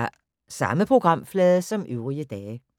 Samme programflade som øvrige dage